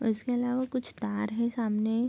उसके अलावा कुछ तार हैं सामने।